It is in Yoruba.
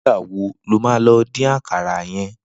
Nigbà wó ló má din àkàrà yèn?